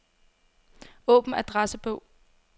Åbn adressebog.